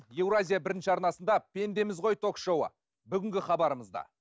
еуразия арнасында пендеміз ғой ток шоуы бүгінгі хабарымызда